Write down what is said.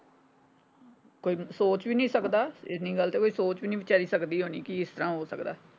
ਕੋਈ ਸੋਚ ਵੀ ਨੀ ਸਕਦਾ ਇੰਨੀ ਗੱਲ ਤੇ ਕੋਈ ਸੋਚ ਵੀ ਨਹੀਂ ਵਿਚਾਰੀ ਸਕਦੀ ਹੋਣੀ ਕਿ ਇਸਤਰਾਂ ਹੋ ਸਕਦਾ।